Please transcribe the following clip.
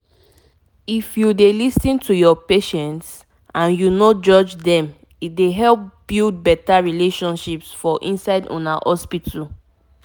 if u dey lis ten to ur patients and u nor judge dem e dey help build better relationship for inside una hospital